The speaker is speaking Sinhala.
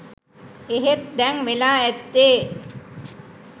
එහෙත් දැන් වෙලා ඇත්තේ